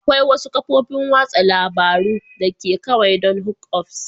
Akwai wasu kafofin watsa labarun da ke kawai don hookups